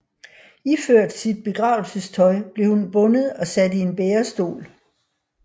Iført sit begravelsestøj blev hun bundet og sat i en bærestol